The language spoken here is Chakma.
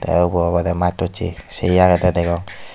te ubo obode mastochi sey agede degong.